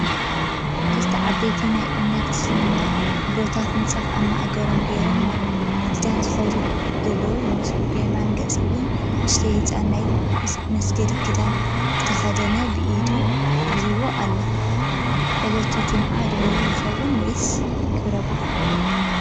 ክልተ ዓበይቲ ናይ እምነት እስልምና ኣቦታት ምንፃፍ ኣብ ማእገሮም ገይሮም ናብ ስግዳን ዝኸዱ ዘለው ይመስሉ፡፡ ብየማን ገፅ ውን ንእሽተይ ህፃን ናይ ስግዳን ክዳን ዝተኸደኑ ብኢዱ ሒዞምዎ ኣለው፡፡ ዕለቱ ጅምዓት ዶ ይኸውን ወይስ ክብረበ ዓሎም?